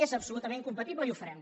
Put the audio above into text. és absolutament compatible i ho farem